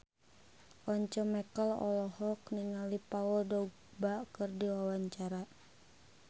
Once Mekel olohok ningali Paul Dogba keur diwawancara